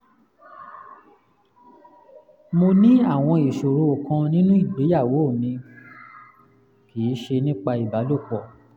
mo ní àwọn ìṣòro kan nínú ìgbéyàwó mi (kì í ṣe nípa ìbálòpọ̀)